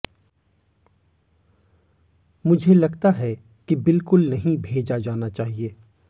मुझे लगता है कि बिल्कुल नहीं भेजा जाना चाहिए